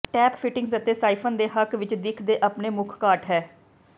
tap fittings ਅਤੇ siphon ਦੇ ਹੱਕ ਵਿਚ ਦਿੱਖ ਦੇ ਆਪਣੇ ਮੁੱਖ ਘਾਟ ਹੈ